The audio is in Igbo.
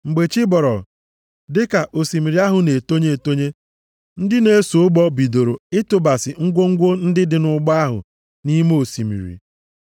Mgbe chi bọrọ, dịka osimiri ahụ na-etonye etonye, ndị na-eso ụgbọ bidoro ịtụbasị ngwongwo ndị dị nʼụgbọ ahụ nʼime osimiri.